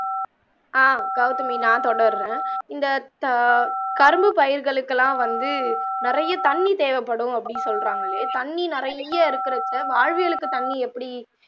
ஆஹ் கவுதமி நான் தொடர்ரன் இந்த த கரும்பு பயிர்களுக்கு எல்லாம் வந்து நிறைய தண்ணி தேவ படும் அப்படி சொல்றாங்களே தண்ணி நிறைய இருக்குறச்ச வாழ்வியலுக்கு தண்ணி எப்படி